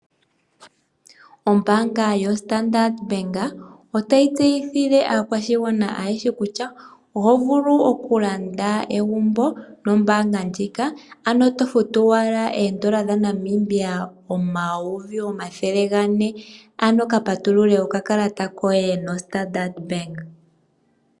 Ombaanga yoStandard otayi tseyithile aakwashigwana ayehe kutya, oho vulu oku landa egumbo nombaanga ndjika, ano tofutu owala eendola dhaNamibia omayovi omathele ga ne, ano ka patulule okakalata koye nombaanga yoStandard.